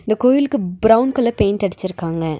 இந்த கோயிலுக்கு brown colour paint அடிச்சிருக்காங்க.